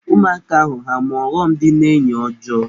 Ụmụaka ahụ ha-ama ọghọm dị n'enyi ọjọọ?